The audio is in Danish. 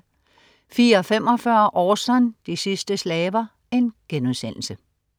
04.45 Orson. De sidste slaver*